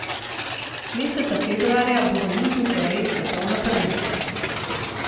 Meseca februarja bo v Južni Koreji svetovno prvenstvo.